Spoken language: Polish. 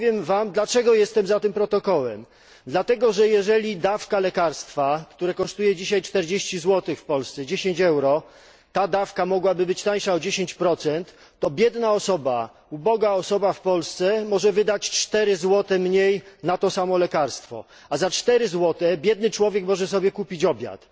Powiem Wam, dlaczego jestem za tym protokołem dlatego, że jeżeli dawka lekarstwa, które kosztuje dzisiaj w Polsce 40 zł, 10 euro, ta dawka mogłaby być tańsza o 10, to biedna osoba, uboga osoba w Polsce może wydać o 4 zł mniej na to samo lekarstwo, a za 4 zł biedny człowiek może kupić sobie obiad.